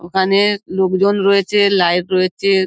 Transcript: ওখানে লোকজন রয়েছে লাইট রয়েছে।